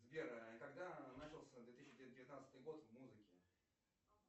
сбер когда начался две тысячи девятнадцатый год в музыке